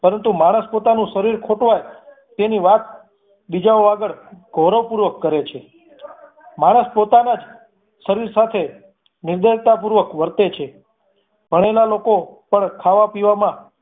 પરંતુ માણસ પોતાનું શરીર ખોટવાઈ તેની વાત બીજાઓ આગળ ગૌરવ પૂર્વક કરે છે. માણસ પોતાનાં જ શરીર સાથે નિર્દયતા પૂર્વક વર્તે છે. ભણેલા લોકો પણ ખાવા પીવામા